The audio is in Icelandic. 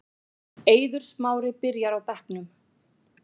Eiður Smári byrjar á bekknum